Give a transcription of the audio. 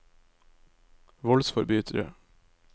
voldsforbrytere